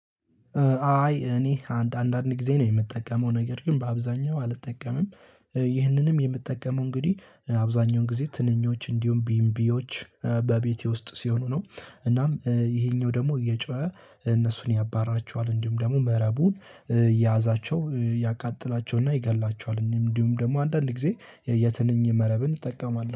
አይ እኔ አንድ አንድ አንድ ጊዜ ነው የምጠቀመው ነገር ግን በአብዛኛው አልጠቀምም። ይህንንም የምጠቀመው እንግዲህ አብዛኛውን ጊዜ ትንኞች እንዲሁም ቢምቢዎች በቤቴ ውስጥ ሲሆኑ ነው እናም ይሄኛው ደግሞ እየጮኸ እነሱን ያባራቸዋል እንዲም ደግሞ መረቡ ያዛቸው ያቃጥላቸውና ይገላቸዋል። እኔም እንዲሁም ደግሞ አንዳንድ ጊዜ የትንኝ መረብን እጠቀማለሁ